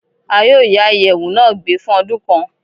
À yóò yá iyẹwu na gbé fun ódun kan